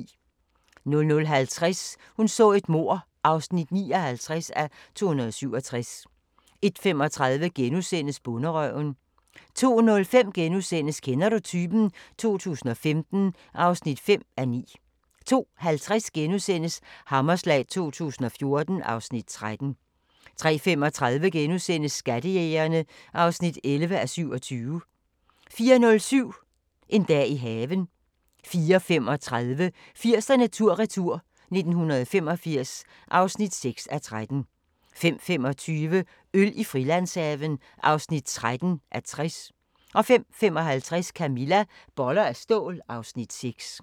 00:50: Hun så et mord (59:267) 01:35: Bonderøven * 02:05: Kender du typen? 2015 (5:9)* 02:50: Hammerslag 2014 (Afs. 13)* 03:35: Skattejægerne (11:27)* 04:05: En dag i haven 04:35: 80'erne tur-retur: 1985 (6:13) 05:25: Øl i Frilandshaven (13:60) 05:55: Camilla - Boller af stål (Afs. 6)